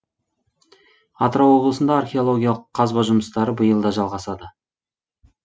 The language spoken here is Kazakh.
атырау облысында археологиялық қазба жұмыстары биыл да жалғасады